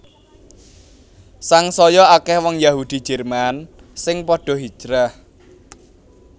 Sangsaya akèh wong Yahudi Jerman sing padha hijrah